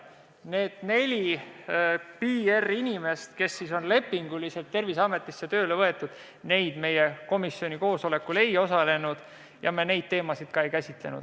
Need neli PR-inimest, kes on lepinguliselt Terviseametisse tööle võetud, meie komisjoni koosolekul ei osalenud ja seda teemat me ka ei käsitlenud.